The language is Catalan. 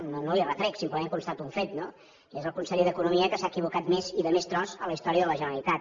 no li ho retrec simplement constato un fet no és el conseller d’economia que s’ha equivocat més i de més tros en la història de la generalitat